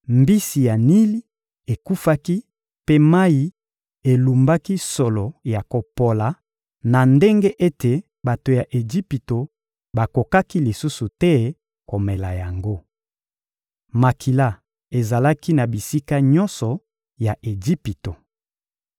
Mbisi ya Nili ekufaki mpe mayi elumbaki solo ya kopola na ndenge ete bato ya Ejipito bakokaki lisusu te komela yango. Makila ezalaki na bisika nyonso ya Ejipito.